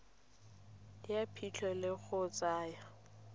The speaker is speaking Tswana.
ya phitlho le go tsaya